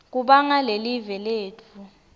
kubanga lelive letfu